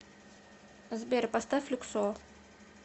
сбер поставь люксор